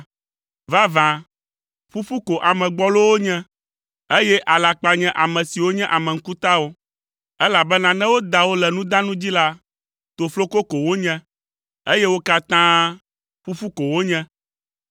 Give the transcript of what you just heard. Vavã, ƒuƒu ko ame gbɔlowo nye, eye alakpa nye ame siwo nye ame ŋkutawo, elabena ne woda wo le nudanu dzi la, tofloko ko wonye, eye wo katã ƒuƒu ko wonye.